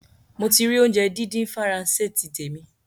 Mo ti rì óunjẹ dídín Faransé ti tèmi